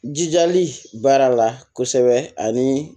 Jijali baara la kosɛbɛ ani